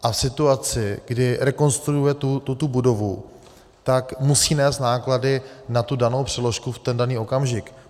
A v situaci, kdy rekonstruuje tuto budovu, tak musí nést náklady na tu danou přeložku v ten daný okamžik.